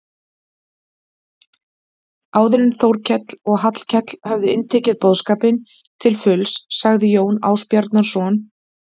Áður en Þórkell og Hallkell höfðu inntekið boðskapinn til fulls sagði Jón Ásbjarnarson